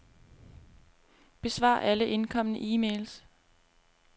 Besvar alle indkomne e-mails.